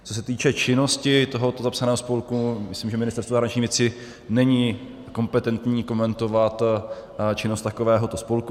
Co se týče činnosti tohoto zapsaného spolku, myslím, že Ministerstvo zahraničních věcí není kompetentní komentovat činnost takovéhoto spolku.